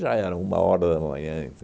Já era uma hora da manhã,